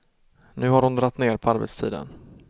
Nu har hon dragit ner på arbetstiden.